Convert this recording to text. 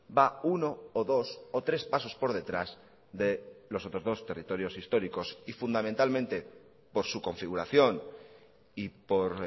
va uno o dos o tres pasos por detrás de los otros dos territorios históricos y fundamentalmente por su configuración y por